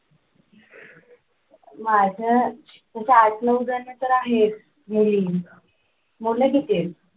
माझ्या तस आठ नऊ जण तर आहेत मुली मुलं किती आहेत?